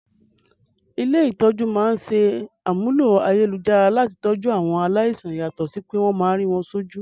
Ilé-ìtójú máa aṣàmúlò ayélujára láti tọjú àwọn aláìsàn yàtọ̀ sí pé wọ́n máa rí wọ́n sójú